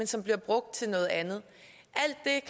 så bliver brugt til noget andet